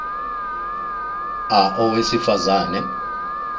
a owesifaz ane